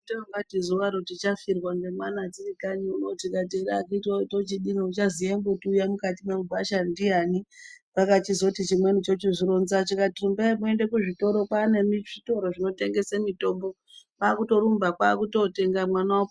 Tongati zuvaro tichafirwa nge mwana tiri kanyi uno tikati ere akiti woye akitiwe tochidini uchaziye mbuti uya mukati mwe gwasha ndiyani pakachizoti chimweni chochizvi ronza chakati rumbai moende ku zvitoro kwane zvitoro zvino tengese mitombo kwakuto rumba kwakuto tenga mwana opona.